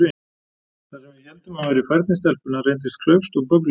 Það sem við héldum að væri færni stelpunnar reyndist klaufskt og bögglulegt.